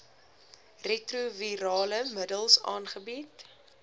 retrovirale middels aangebied